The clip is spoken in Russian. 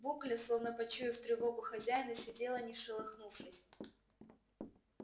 букля словно почуяв тревогу хозяина сидела не шелохнувшись